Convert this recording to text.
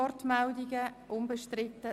Wir fahren weiter.